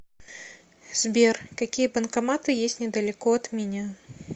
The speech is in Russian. сбер какие банкоматы есть недалеко от меня